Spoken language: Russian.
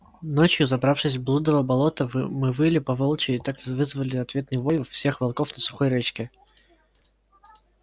ночью забравшись в блудово болото вы мы выли по волчьи и так вызвали ответный вой всех волков на сухой речке